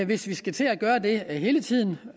hvis vi skal til at gøre det hele tiden